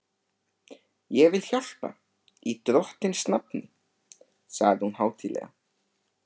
Ég vil hjálpa í Drottins nafni sagði hún hátíðlega.